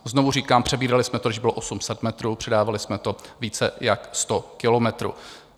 Znovu říkám, přebírali jsme to, když bylo 800 metrů, předávali jsme to více jak 100 kilometrů.